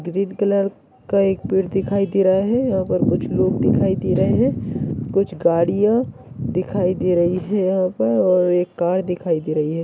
Green colour का एक पेड़ दिखाई दे रहा है यहाँ पर कुछ लोग दिखाई दे रहे है कुछ गाड़िया दिखाई दे रही है यहाँ पर और एक कार दिखाई दे रही है।